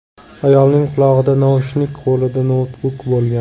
Ayolning qulog‘ida naushnik, qo‘lida noutbuk bo‘lgan.